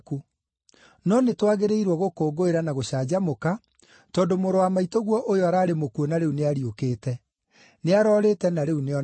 No nĩtwagĩrĩirwo gũkũngũĩra na gũcanjamũka, tondũ mũrũ wa maitũguo ũyũ ararĩ mũkuũ na rĩu nĩariũkĩte; nĩarorĩte na rĩu nĩonekete.’ ”